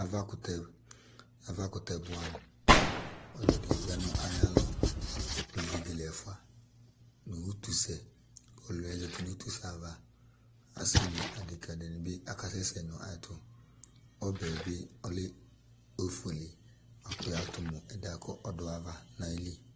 avakʊtɛ ɓuam ku ɔlɔdi yanu ayalɔ ku vɛgɛle nu ɔtɔsɛ ɛfa nu tusɛ ayalɔ asi ɛfa akasɛsɛ nu ayatu ɔbɛdi ɔfɛlɩ ku yakutum aili